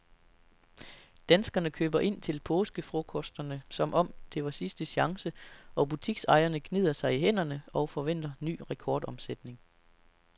Danskerne køber ind til påskefrokosterne som om det var sidste chance, og butiksejerne gnider sig i hænderne og forventer ny rekordomsætning.